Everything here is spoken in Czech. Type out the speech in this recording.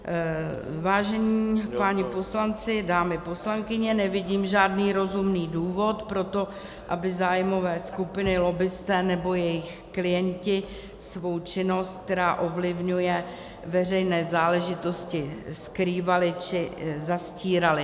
Vážení páni poslanci, dámy poslankyně, nevidím žádný rozumný důvod pro to, aby zájmové skupiny - lobbisté nebo jejich klienti - svou činnost, která ovlivňuje veřejné záležitosti, skrývaly či zastíraly.